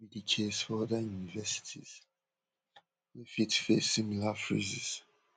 no be di case for oda universities wey fit face similar freezes